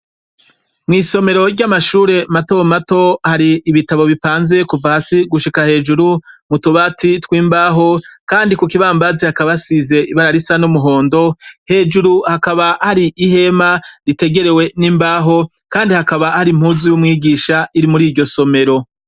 Mwisomero ry’amashure mato mato hari ibitabo bipanze kuva hasi gushika hejuru ,mutubati tw’imbaho ,Kandi kukibambazi hakaba hasize ibara risa n’umuhondo , hejuru hakaba hari ihema ritegerewe n’imbaho Kandi hakaba har’impuzu y’umwigisha iri muriryo somero.